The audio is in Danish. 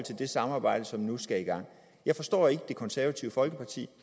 det samarbejde som nu skal i gang jeg forstår ikke det konservative folkeparti